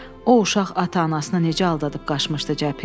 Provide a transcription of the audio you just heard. O uşaq ata-anasını necə aldadıb qaçmışdı cəbhəyə.